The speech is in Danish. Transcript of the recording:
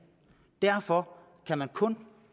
derfor kan man kun